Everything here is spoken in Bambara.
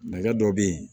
Nɛgɛ dɔ bɛ yen